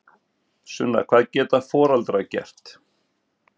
Sunna: Hvað geta foreldrar gert?